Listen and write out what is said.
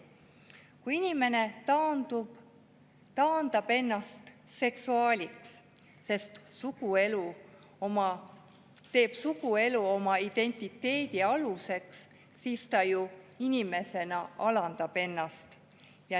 Kui inimene taandab ennast seksuaaliks, teeb suguelu oma identiteedi aluseks, siis ta ju inimesena alandab ennast.